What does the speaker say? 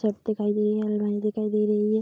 Shirt दिखाई दे रही है अलमारी दिखाई दे रही है।